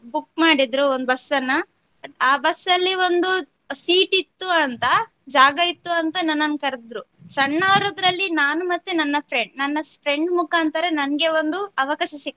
Book ಮಾಡಿದ್ರು ಒಂದು ಬಸ್ಸನ್ನ ಆ ಬಸ್ ಅಲ್ಲಿ ಒಂದು seat ಇತ್ತು ಅಂತ ಜಾಗ ಇತ್ತು ಅಂತ ನನ್ನನ್ನು ಕರದ್ರೂ ಸಣ್ಣವದರಲ್ಲಿ ನಾನು ಮತ್ತೆ ನನ್ನ friend ನನ್ನ friend ಮುಖಾಂತರ ನನ್ಗೆ ಒಂದು ಅವಕಾಶ ಸಿಗ್ತು.